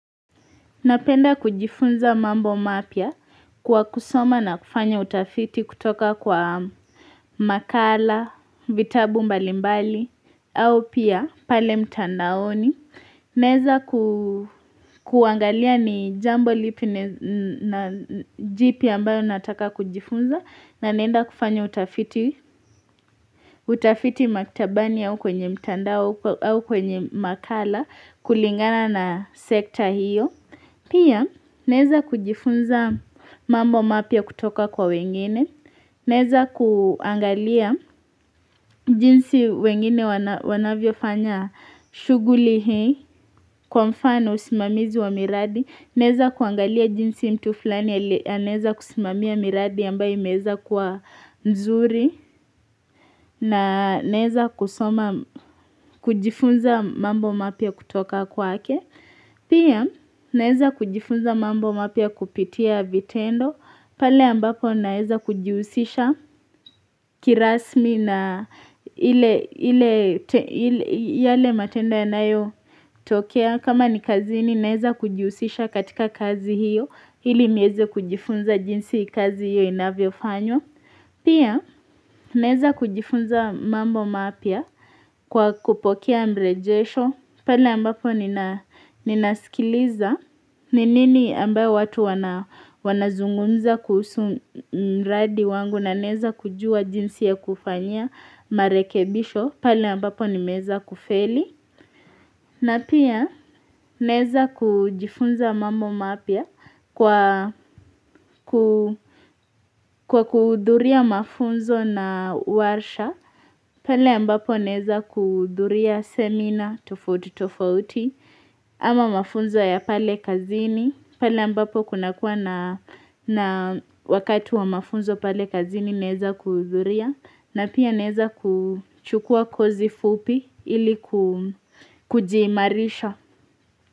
Napenda kujifunza mambo mapya kwa kusoma na kufanya utafiti kutoka kwa makala, vitabu mbali mbali, au pia pale mtandaoni. Naweza kuangalia ni jambo lipi na jipi ambayo nataka kujifunza na naenda kufanya utafiti maktabani au kwenye mtandao au kwenye makala kulingana na sekta hiyo. Pia naweza kujifunza mambo mapya kutoka kwa wengine, naweza kuangalia jinsi wengine wanavyofanya shughuli hii kwa mfano usimamizi wa miradi, naweza kuangalia jinsi mtu fulani ya anaweza kusimamia miradi ambayo imeweza kuwa nzuri na naweza kusoma kujifunza mambo mapya kutoka kwake. Pia, naweza kujifunza mambo mapya kupitia vitendo, pale ambapo naweza kujihusisha kirasmi na ile yale matendo yanayotokea, kama ni kazini naweza kujihusisha katika kazi hiyo, ili niweze kujifunza jinsi kazi hiyo inavyofanywa. Pia naweza kujifunza mambo mapya kwa kupokea mrejesho pale ambapo ninasikiliza ni nini ambayo watu wanazungumza kuhusu mradi wangu na naweza kujua jinsi ya kufanyia marekebisho pale ambapo nimeweza kufeli na pia naweza kujifunza mambo mapya kwa kwa kuhudhuria mafunzo na warsha pale ambapo naweza kuhudhuria semina tofauti tofauti ama mafunzo ya pale kazini pale ambapo kunakuwa na wakatu wa mafunzo pale kazini neza kudhuria na pia naweza kuchukua kozi fupi ili kujiimarisha.